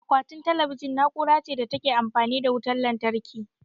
Akwatin talabijin na'ura ce da ta Ke amfani da wutan lantarki